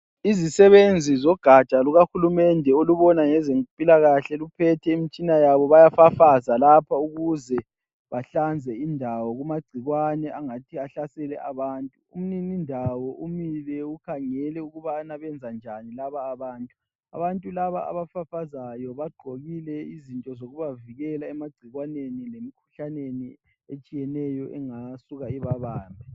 Izisebenzi zogatsha lukahulumende olubona ngezempilakahle luphethe imitshina yabo bayafafaza lapha ukuze bahlanze indawo kumagcikwane angathi ahlasele abantu. Umninindawo umile ukhangele ukubana benzanjani laba abantu. Abantu laba abafafazayo bagqokile izinto zokubavikela emagcikwaneni lemkhuhlaneni etshiyeneyo engasuka ibabambe.